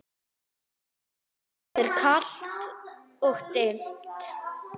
Það er kalt og dimmt.